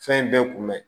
Fɛn in bɛɛ kun bɛ